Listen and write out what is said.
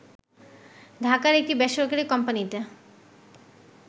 ঢাকার একটি বেসরকারী কোম্পানীতে